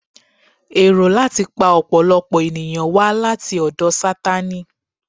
Èrò láti pa ọ̀pọ̀lọpọ̀ ènìyàn wá láti ọ̀dọ̀ Sátánì